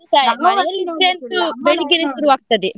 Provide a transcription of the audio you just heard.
ನಮ್ಮಲ್ಲಿ ಇದೆ ಅಂತೂ ಬೆಳಿಗ್ಗೆನೇ ಶುರು ಆಗ್ತದೆ.